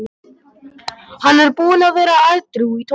Hann er búinn að vera edrú í tólf ár.